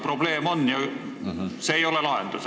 Probleem on ja see ei ole lahendus.